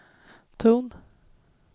ton